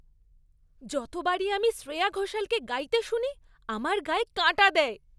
যতবার আমি শ্রেয়া ঘোষালকে গাইতে শুনি, আমার গায়ে কাঁটা দেয়।